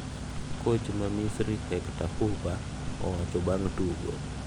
"Koch ma Misri Hector Cuper, owacho bang' tugo